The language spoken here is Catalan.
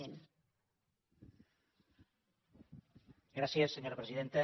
gràcies senyora presidenta